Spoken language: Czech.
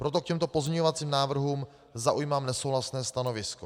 Proto k těmto pozměňovacím návrhům zaujímám nesouhlasné stanovisko.